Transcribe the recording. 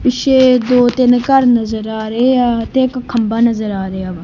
ਪਿੱਛੇ ਦੋ ਤਿੰਨ ਘੱਰ ਨਜ਼ਰ ਆ ਰਹੇ ਆ ਤੇ ਇੱਕ ਖੰਭਾ ਨਜ਼ਰ ਆ ਰਿਹਾ ਵਾ।